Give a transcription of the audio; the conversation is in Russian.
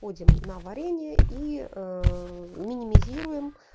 ходим на варенье и минимизируем